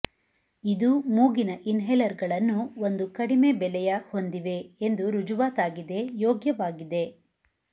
ಇದು ಮೂಗಿನ ಇನ್ಹೇಲರ್ಗಳನ್ನು ಒಂದು ಕಡಿಮೆ ಬೆಲೆಯ ಹೊಂದಿವೆ ಎಂದು ರುಜುವಾತಾಗಿದೆ ಯೋಗ್ಯವಾಗಿದೆ